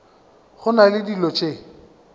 go na le dilo tše